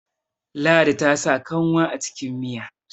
ladi ta sa kanwa a cikin Miya